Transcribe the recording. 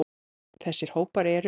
Þessa hópar eru